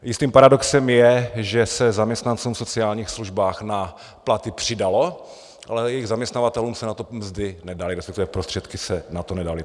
Jistým paradoxem je, že se zaměstnancům v sociálních službách na platy přidalo, ale jejich zaměstnavatelům se na to mzdy nedaly, respektive prostředky se na to nedaly.